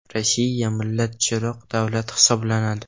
Rossiya millatchiroq davlat hisoblanadi”.